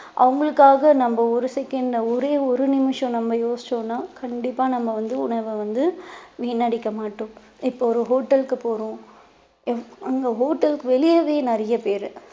அவங்களுக்காக, நம்ம ஒரு second ல ஒரே ஒரு நிமிஷம் நம்ம யோசிச்சோம்ன்னா கண்டிப்பா நம்ம வந்து உணவை வந்து வீணடிக்க மாட்டோம் இப்போ ஒரு hotel க்கு போறோம் அங்க hotel க்கு வெளியவே நிறைய பேரு